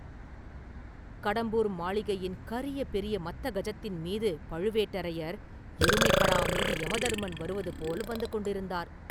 “கடம்பூர் மாளிகையின் கரிய பெரிய மத்தகஜத்தின் மீது பழுவேட்டரையர், எருமைக்கடா மீது யமதர்மன் வருவது போல் வந்து கொண்டிருந்தார்!